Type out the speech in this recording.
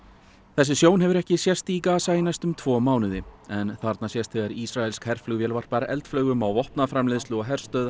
þessi sjón hefur ekki sést í Gaza í næstum tvo mánuði en þarna sést þegar ísraelsk herflugvél varpar eldflaugum á vopnaframleiðslu og herstöð